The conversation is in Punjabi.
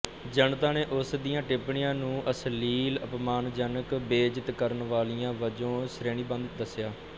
ਜਨਤਾ ਨੇ ਉਸਦੀਆਂ ਟਿੱਪਣੀਆਂ ਨੂੰ ਨੂੰ ਅਸ਼ਲੀਲ ਅਪਮਾਨਜਨਕ ਬੇਇੱਜ਼ਤ ਕਰਨ ਵਾਲੀਆਂ ਵਜੋਂ ਸ਼੍ਰੇਣੀਬੱਧ ਦੱਸਿਆ